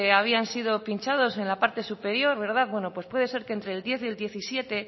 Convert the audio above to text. habían sido pinchados en la parte superior bueno pues puede ser que entre el diez y diecisiete